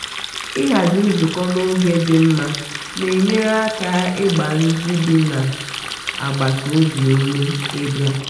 ịhazi nzụkọ n'oge dị mma na-enyere aka ịgba ndị bi na na agbata obi ume i bia.